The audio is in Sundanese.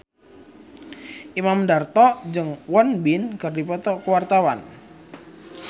Imam Darto jeung Won Bin keur dipoto ku wartawan